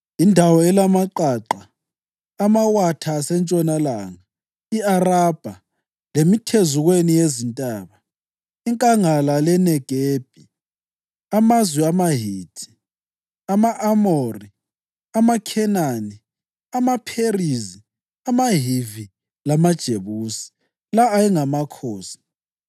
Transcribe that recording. indawo elamaqaqa, amawatha asentshonalanga, i-Arabha, lemithezukweni yezintaba, inkangala leNegebi, amazwe amaHithi, ama-Amori, amaKhenani, amaPherizi, amaHivi, lamaJebusi): La ayengamakhosi: